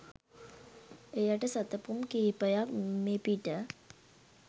එයට සැතපුම් කීපයක් මෙපිට